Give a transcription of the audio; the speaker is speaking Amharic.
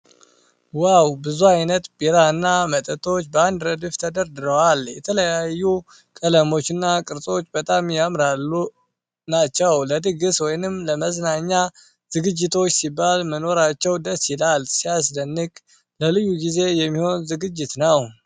ዋው! ብዙ አይነት ቢራና መጠጦች በአንድ ረድፍ ተደርድረዋል። የተለያዩ ቀለሞችና ቅርጾች በጣም ያማሩ ናቸው። ለድግስ ወይም ለመዝናኛ ዝግጅቶች ሲባል መኖራቸው ደስ ይላል። ሲያስደንቅ! ለልዩ ጊዜ የሚሆን ዝግጅት ነው።